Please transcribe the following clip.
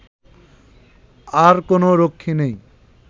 আর কোনও রক্ষী নেই